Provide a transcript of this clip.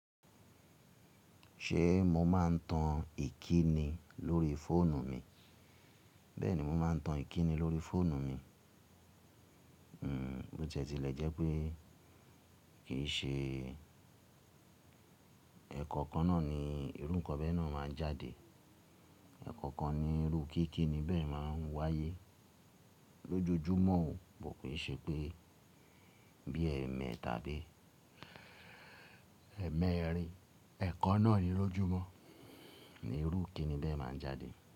Ṣe mo ma n tan ìkíni lórí fóònù mi? Bẹ́ẹ̀ni mo ma n tan ìkíni lórí fóònù mi. Hmm, bó tiẹ́ ti lè jẹ́ pé kìí ṣe ẹ̀kọ́ kan náà ni irú kọ́ bẹ́ẹ̀ náà máa n jáde. Ẹ̀kọ́ kan ni irú kíkí ni bẹ́ẹ̀ máa n wáyé lójojúmọ́ o. Ko kin ṣe pé bí ẹ́ mẹ́ẹ̀ta tàbí ẹẹ̀mẹrin, ẹ̀kan náà ni lójojúmọ́ ni irú ikini ni bẹ́ẹ̀ máa n jáde.